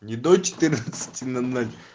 не до четырнадцати ноль ноль